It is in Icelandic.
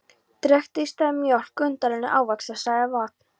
Drekktu í staðinn mjólk, undanrennu, ávaxtasafa eða vatn.